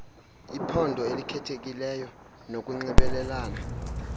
iphondo elikhethekileyo nokunxibelelana